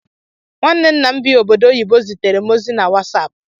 Nwanne nna m bi obodo oyibo ziteerem ozi na Wasaapu.